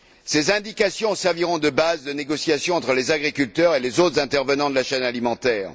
Ces indications serviront de base de négociation entre les agriculteurs et les autres intervenants de la chaîne alimentaire.